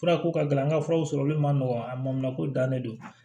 Furako ka gɛlɛn an ka furaw sɔrɔli man nɔgɔn a ma ko dannen don